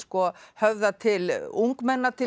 höfða til ungmenna til